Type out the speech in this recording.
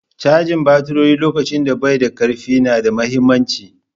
Canja baturi lokacin da bai da karfi na da mahimmanci.